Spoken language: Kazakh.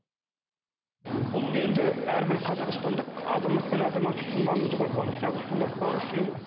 бұл енді әрбір қазақстандық азамат пен азаматша үшін маңызды ғой болашақ үшін ұрпақ үшін